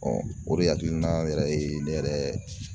o de hakilina yɛrɛ ye ne yɛrɛ